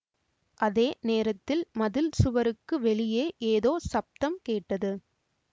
அதே நேரத்தில் மதில் சுவருக்கு வெளியே ஏதோ சப்தம் கேட்டது